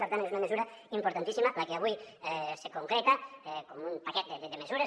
per tant és una mesura importantíssima la que avui se concreta com un paquet de mesures